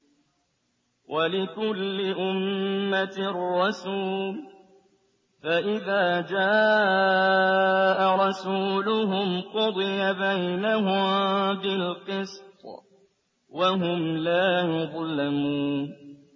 وَلِكُلِّ أُمَّةٍ رَّسُولٌ ۖ فَإِذَا جَاءَ رَسُولُهُمْ قُضِيَ بَيْنَهُم بِالْقِسْطِ وَهُمْ لَا يُظْلَمُونَ